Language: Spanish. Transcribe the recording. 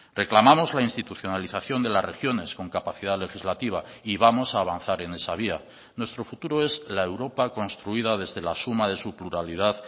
reclamamos la institucionalización de las regiones con capacidad legislativa y vamos a avanzar en esa vía nuestro futuro es la europa construida desde la suma de su pluralidad